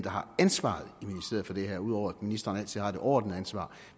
har ansvaret i ministeriet for det her ud over at ministeren altid har det overordnede ansvar